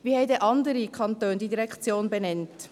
Wie haben andere Kantone diese Direktion benannt?